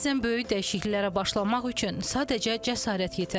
Bəzən böyük dəyişikliklərə başlamaq üçün sadəcə cəsarət yetər.